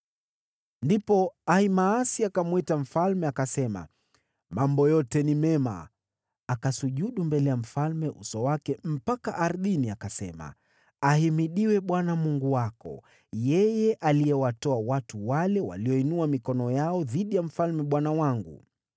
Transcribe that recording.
Ndipo Ahimaasi akamwita mfalme, akasema, “Mambo yote ni mema!” Akasujudu mbele ya mfalme uso wake mpaka ardhini, akasema, “Ahimidiwe Bwana Mungu wako! Yeye aliyewatoa watu wale walioinua mikono yao dhidi ya mfalme bwana wangu.”